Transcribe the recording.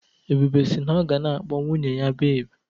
Ebube si na ọ ga na-akpọ nwunye ya "beebi"